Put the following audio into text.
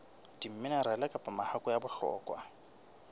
diminerale kapa mahakwe a bohlokwa